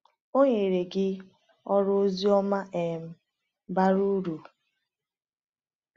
O nyere gị ọrụ ozioma um bara uru.”